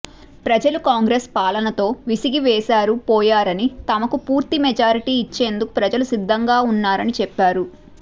ప్రజలు కాంగ్రెస్ పాలనతో విసిగి వేశారి పోయారని తమకు పూర్తి మెజార్టీ ఇచ్చేందుకు ప్రజలు సిద్ధంగా ఉన్నారని చెప్పారు